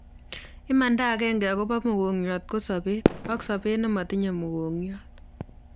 Imanda akenge akopa mokongiot ko sopeet ak sopet ne matinye mokongiot